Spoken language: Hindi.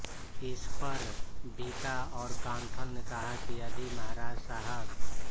इस पर बीका और कांथल ने कहा कि यदि महाराज साहब